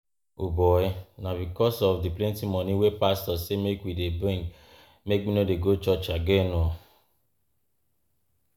Na because of di plenty moni wey pastor sey make we dey bring make me no dey go church again.